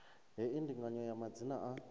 hei ndinganyo ya madzina a